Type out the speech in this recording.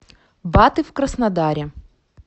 баты в краснодаре